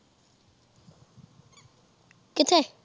ਕਿਥੇ